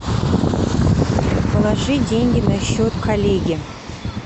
положи деньги на счет коллеги